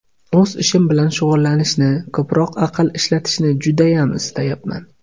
O‘z ishim bilan shug‘ullanishni, ko‘proq aql ishlatishni judayam istayapman.